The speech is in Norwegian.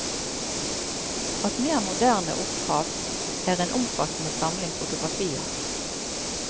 Av mer moderne opphav er en omfattende samling fotografier.